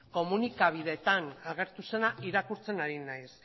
komunikabideetan agertu zena irakurtzen ari naiz